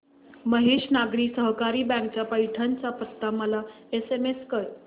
Mahesh Nagari Sahakari bank चा पैठण चा पत्ता मला एसएमएस कर